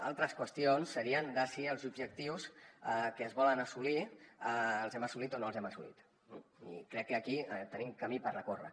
altres qüestions serien si els objectius que es volen assolir els hem assolit o no els hem assolit i crec que aquí tenim camí per recórrer